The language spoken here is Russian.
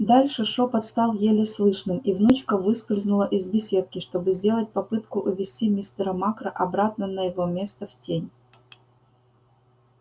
дальше шёпот стал еле слышным и внучка выскользнула из беседки чтобы сделать попытку увести мистера макра обратно на его место в тень